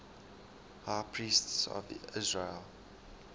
high priests of israel